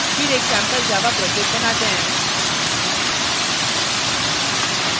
फिर एक sample java project बनाते हैं